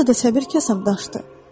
Burada səbir kasam daşdı.